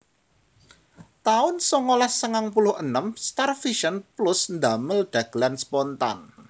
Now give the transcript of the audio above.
taun songolas sangang puluh enem StarVision Plus ndamel dhagelan Spontan